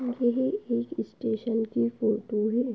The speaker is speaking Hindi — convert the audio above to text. यह एक स्टेशन की फोटो है।